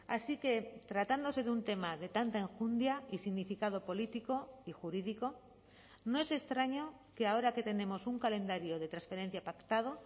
así que tratándose de un tema de tanta enjundia y significado político y jurídico no es extraño que ahora que tenemos un calendario de transferencia pactado